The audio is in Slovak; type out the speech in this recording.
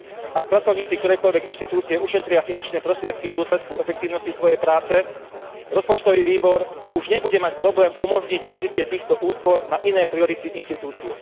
Ak pracovníci ktorejkoľvek inštitúcie ušetria finančné prostriedky v dôsledku efektívnosti svojej práce, rozpočtový výbor už nebude mať problém umožniť využitie týchto úspor na iné priority inštitúcie.